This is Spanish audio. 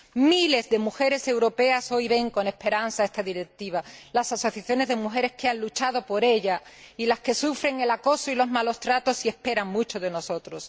Miles de mujeres europeas hoy ven con esperanza esta Directiva las asociaciones de mujeres que han luchado por ella y las que sufren el acoso y los malos tratos y esperan mucho de nosotros.